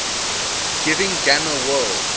giving gamma world